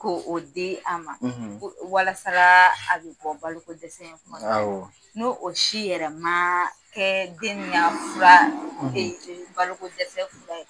Ko o di a ma walasa a bɛ bɔ baloko dɛsɛ in kɔnɔna na awɔ n'o o si yɛrɛ man kɛ den nin ka fura baloko dɛsɛ